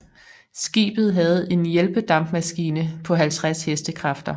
Skibet havde en hjælpedampmaskine på 50 HK